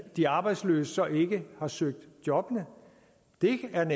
de arbejdsløse ikke har søgt jobbene det er